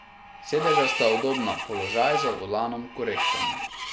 Sedeža sta udobna, položaj za volanom korekten.